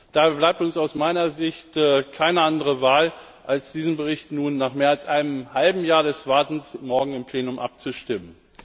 Da bleibt uns aus meiner Sicht keine andere Wahl, als über diesen Bericht nun nach mehr als einem halben Jahr des Wartens morgen im Plenum abzustimmen.